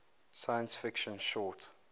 science fiction short